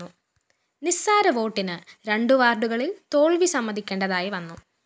നിസ്സാര വോട്ടിന് രണ്ടു വാര്‍ഡുകളില്‍ തോല്‍വി സമ്മതിക്കേണ്ടതായി വന്നു